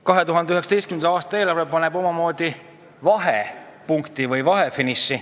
2019. aasta eelarves kajastub omamoodi peretoetuste reformi vahefiniš.